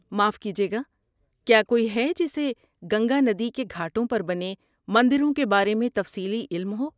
معاف کیجئے گا، کیا کوئی ہے جسے گنگا ندی کے گھاٹوں پر بنے مندروں کے بارے میں تفصیلی علم ہو؟